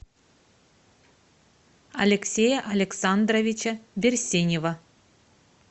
алексея александровича берсенева